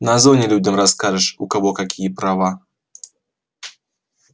на зоне людям расскажешь у кого какие права